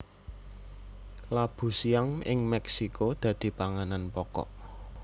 Labu siam ing Mexico dadi panganan pokok